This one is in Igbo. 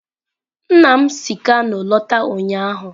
Nna m si kano lọta ụnyahụ.